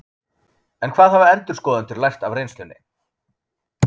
En hvað hafa endurskoðendur lært af reynslunni?